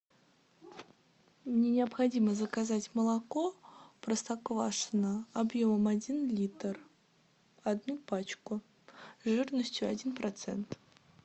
мне необходимо заказать молоко простоквашино объемом один литр одну пачку жирностью один процент